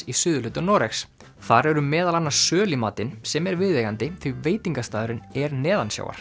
í suðurhluta Noregs þar eru meðal annars söl í matinn sem er viðeigandi því veitingastaðurinn er